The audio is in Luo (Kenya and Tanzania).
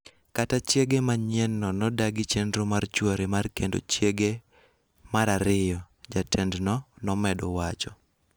Kata chiege manyienno nodagi chenro mar chwore mar kendo chiege mar ariyo, jatendno nomedo wacho.